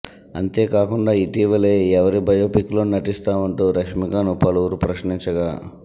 అంతేకాకుండా ఇటీవలే ఎవరి బయోపిక్ లో నటిస్తావంటూ రష్మిక ను పలువురు ప్రశ్నించగా